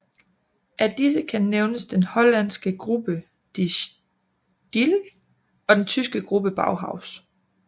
Af disse kan nævnes den hollandske gruppe De Stijl og den tyske gruppe Bauhaus